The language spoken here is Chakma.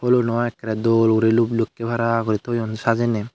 poluno ekoray doll luk luk kay para gori toone sajanay.